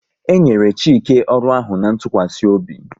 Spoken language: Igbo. E nyere Chike ọrụ ahụ na ntụkwasị obi